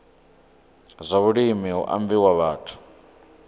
zwa vhulimi hu ambiwa vhathu